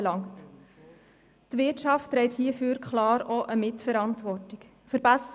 Es ist klar, dass die Wirtschaft hierfür auch eine Mitverantwortung trägt.